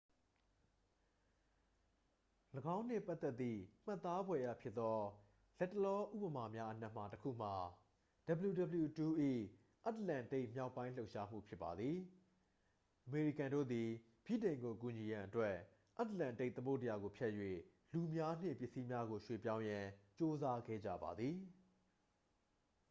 ၎င်းနှင့်ပတ်သက်သည့် မှတ်သားဖွယ်ရာဖြစ်သော လတ်တလောဥပမာများအနက်မှ တစ် ခုမှာ wwii ၏ အတ္တလန္တိတ်မြောက်ပိုင်း လှုပ်ရှားမှုဖြစ်ပါသည် အမေရိကန်တို့သည် ဗြိတိန်ကိုကူညီရန်အတွက် အတ္တလန္တိတ်သမုဒ္ဒရာကိုဖြတ်၍ လူများနှင့် ပစ္စည်းများကိုရွှေ့ပြောင်းရန် ကြိုးစားခဲ့ကြပါသည်